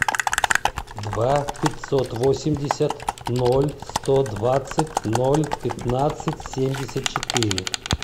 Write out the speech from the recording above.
два пятьсот восемьдесят ноль сто двадцать ноль пятнадцать семьдесят четыре